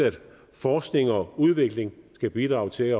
forskning og udvikling skal bidrage til at